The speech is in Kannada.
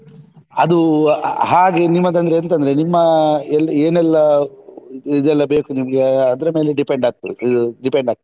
ಅದು ಹಾಗೆ ನಿಮ್ಮದು ಅಂದ್ರೆ ಎಂತ ಅಂದ್ರೆ ನಿಮ್ಮ ಏನೆಲ್ಲಾ ಇದೆಲ್ಲಾ ಬೇಕು ನಿಮ್ಗೆ ಅದ್ರ ಮೇಲೆ depend ಆಗ್ತದೆ. depend ಆಗ್ತದೆ.